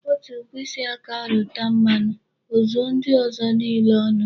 Otu mkpịsị aka rụta mmanụ, o zuo ndị ọzọ nile ọnụ.